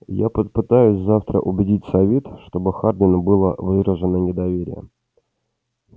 я попытаюсь завтра убедить совет чтобы хардину было выражено недоверие